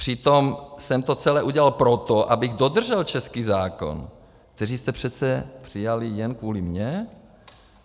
Přitom jsem to celé udělal proto, abych dodržel český zákon, který jste přece přijal jen kvůli mně.